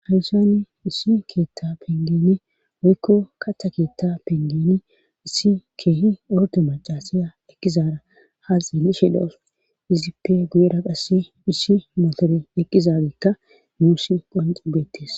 hayussani issi keetta pengeene woykko katha keetta pengeni issi keehi orde macasiya eqizara haaxiili shedhof izippe guyera qasse issi motore eqqizageekka muusi qonxibettes